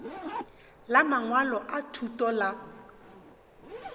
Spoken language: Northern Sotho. la mangwalo a thuto la